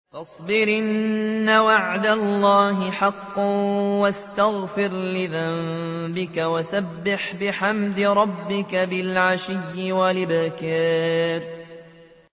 فَاصْبِرْ إِنَّ وَعْدَ اللَّهِ حَقٌّ وَاسْتَغْفِرْ لِذَنبِكَ وَسَبِّحْ بِحَمْدِ رَبِّكَ بِالْعَشِيِّ وَالْإِبْكَارِ